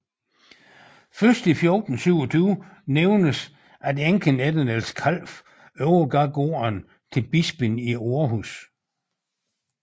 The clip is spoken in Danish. Først i 1427 nævnes at enken efter Niels Kalf overgav gården til bispen i Århus